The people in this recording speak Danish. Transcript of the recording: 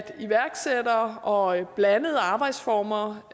iværksættere og blandede arbejdsformer